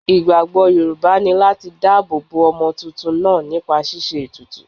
Ìgbàgbọ́ Yorùbá ni láti dá ààbò bo ọmọ tuntun náà nípa ṣíṣe ètùtù.